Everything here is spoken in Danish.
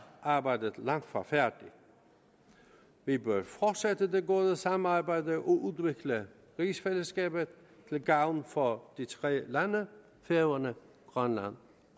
arbejdet langt fra færdigt vi bør fortsætte det gode samarbejde og udvikle rigsfællesskabet til gavn for de tre lande færøerne grønland